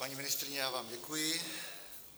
Paní ministryně, já vám děkuji.